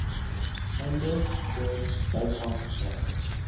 einde de byvangste